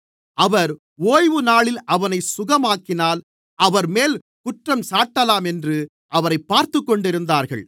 அவர் ஓய்வுநாளில் அவனைச் சுகமாக்கினால் அவர்மேல் குற்றஞ்சாட்டலாம் என்று அவரைப் பார்த்துக்கொண்டிருந்தார்கள்